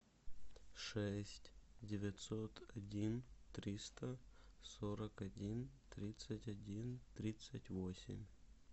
шесть девятьсот один триста сорок один тридцать один тридцать восемь